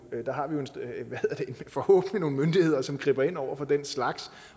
forhåbentlig har nogle myndigheder som griber ind over for den slags